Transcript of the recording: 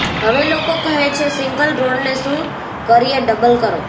હવે લોકો કહે છે સિંગલ રોડને શું કરીએ ડબલ કરો